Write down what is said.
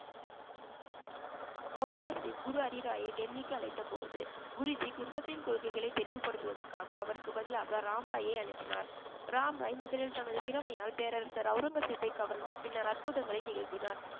அவுரங்கசீப் குரு ஹரிராயை டெல்லிக்கு அழைத்தபோது குருஜி குர்மத்தின் கொள்கைகளை தெளிவுபடுத்துவதற்காக அவருக்கு பதிலாக ராம்ராயை அனுப்பினார் ராம் ராய் முதலில் தனது திறமையால் பேரரசர் அவுரங்கசீப்பை கவர்ந்து பின்னர் அற்புதங்களை நிகழ்த்தினார்